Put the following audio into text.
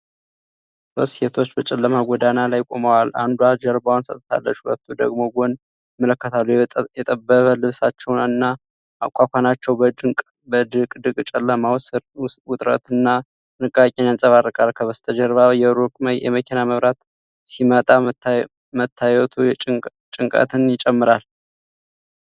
ሦስት ሴቶች በጨለማ ጎዳና ላይ ቆመዋል፤ አንዷ ጀርባዋን ሰጥታለች፣ ሁለቱ ወደ ጎን ይመለከታሉ። የጠበበ ልብሳቸውና አኳኋናቸው በድቅድቅ ጨለማው ሥር ውጥረትንና ጥንቃቄን ያንጸባርቃል። ከበስተጀርባ የሩቅ የመኪና መብራት ሲመጣ መታየቱ ጭንቀትን ይጨምራል።